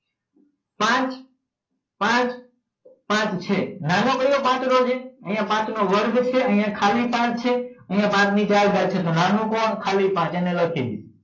પાંચ પાંચ પાંચ છે નાનો કયો પાંચડો છે અહીંયા પાંચનો વર્ગ છે અહીંયા ખાલી પાંચ છે અહીંયા પાંચ ને ચાર ઘાત છે તો નાનો કોણ ખાલી પાચ એ લખી દો